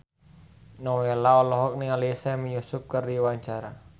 Nowela olohok ningali Sami Yusuf keur diwawancara